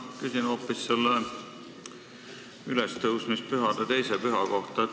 Ma küsin hoopis ülestõusmispühade teise püha kohta.